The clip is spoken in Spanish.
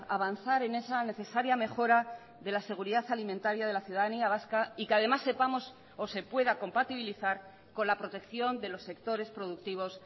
avanzar en esa necesaria mejora de la seguridad alimentaria de la ciudadanía vasca y que además sepamos o se pueda compatibilizar con la protección de los sectores productivos